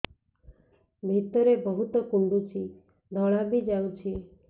ଭିତରେ ବହୁତ କୁଣ୍ଡୁଚି ଧଳା ବି ଯାଉଛି